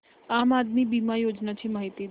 आम आदमी बिमा योजने ची माहिती दे